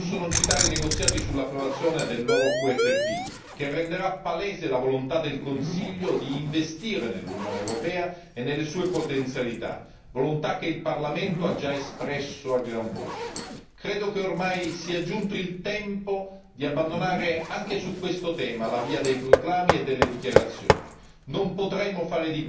In questo contesto, non posso non citare i negoziati sull'approvazione del nuovo quadro finanziario pluriennale, che renderà palese la volontà del Consiglio di investire nell'Unione europea e nelle sue potenzialità, volontà che il Parlamento ha già espresso a gran voce. Credo che ormai sia giunto il tempo di abbandonare, anche su questo tema, la via dei proclami e delle dichiarazioni.